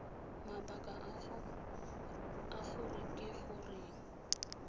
mabaka a gore ke goreng